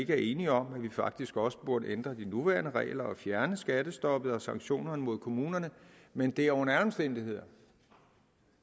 er enighed om at man faktisk også burde ændre de nuværende regler og fjerne skattestoppet og sanktionerne mod kommunerne men det er under alle omstændigheder